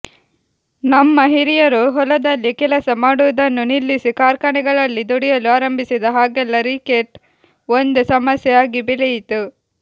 ನಮ್ಮ ಹಿರಿಯರು ಹೊಲದಲ್ಲಿ ಕೆಲಸ ಮಾಡುವುದನ್ನು ನಿಲ್ಲಿಸಿ ಕಾರ್ಖಾನೆಗಳಲ್ಲಿ ದುಡಿಯಲು ಆರಂಭಿಸಿದ ಹಾಗೆಲ್ಲಾ ರಿಕೆಟ್ ಒಂದು ಸಮಸ್ಯೆ ಆಗಿ ಬೆಳೆಯಿತು